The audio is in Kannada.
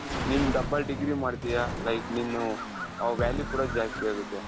ನೀನು double degree ಮಾಡ್ತೀಯ like ನೀನು ಅವಾಗ value ಕೂಡ ಜಾಸ್ತಿ ಆಗುತ್ತೆ.